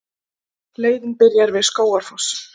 Leiðin byrjar við Skógafoss.